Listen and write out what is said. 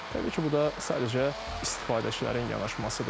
Təbii ki, bu da sadəcə istifadəçilərin yanaşmasıdır.